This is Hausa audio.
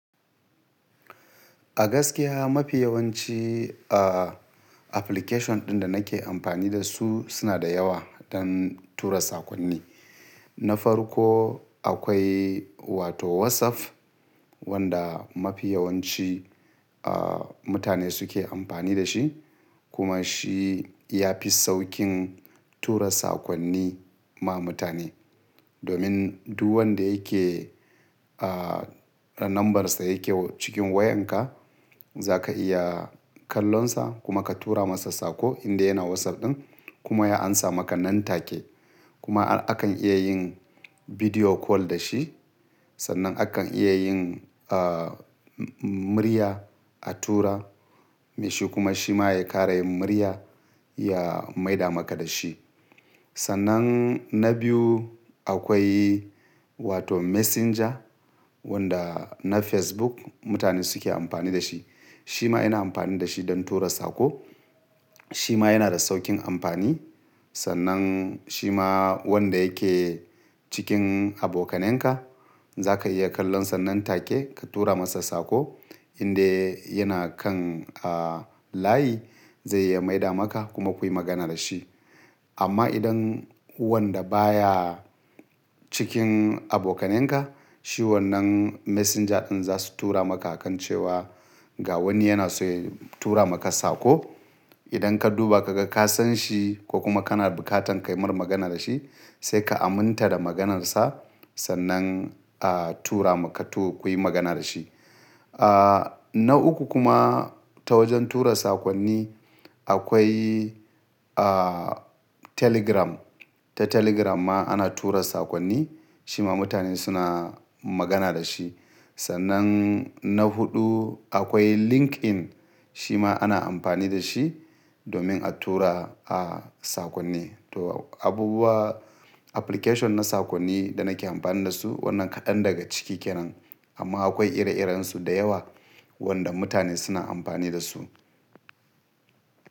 A gaskiya mafi yawanci, aa, application ɗin da nake amfani da su suna da yawa don tura sakonni. Na farko akwai wato WhatsApp wanda mafi yawanci, aa, mutane suke amfani da shi kuma shi ya fi saukin tura sakonni ma mutane. Domin duk wanda yake, a, ranambarsa yake cikin wayanka zaka iya kallonsa kuma ka tura masa sako inda yana WhatsApp ɗin kuma ya amsa maka nan take. Kuma arvakan iya yin video call da shi. Sannan akan iya yin, aa, murya a tura. Mai shi kuma shi ma ya kara yin murya ya maida maka da shi. Sannan na biyu akwai wato Messenger wanda na Facebook mutane suke amfani da shi. Shi ma ina amfani da shi don tura sako. Shi ma yana da sauƙin amfani. Sannan shi ma wanda yake cikin abokanenka zaka iya kallonsa nan take ka tura masa sako indai yana kan, a, layi zai iya maida maka kuma kuyi magana da shi. Amma idan wanda baya cikin abokanenka shi wannan Messenger ɗin za su tura maka akancewa ga wani yana so ya tura maka sako. Idan ka duba ka ga ka san shi ko kuma kana bukatan ka yi mar magana da shi sai ka aminta da maganarsa sannan, a, tura maka to-kuyi magana da shi. A, na uku kuma ta wajen tura sakonni akwai, a, Telegram. Ta Telegram ma ana tura sakonni. Shi ma mutane suna magana da shi. Sannan na huɗu akwai LinkedIn. Shi ma ana amfani da shi domin a tura, a, sakonni. To abubuwa application na sakonni da nake amfani da su wannan kaɗan daga ciki kenan. Amma akwai ire-irensu da yawa wanda mutane suna amfani da su.